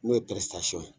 N'o ye ye